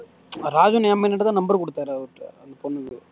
Rajan MN கிட்டதான் number அவர்ட்ட phone பண்ணி பேசு